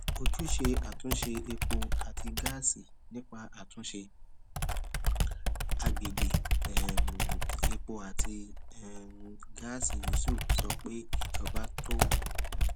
ojúṣe àtúnṣe epo àti gáàsì nípa àtúnṣe agbègbè um epo àti um gáàsì yusuf sọ pé ìjọba tó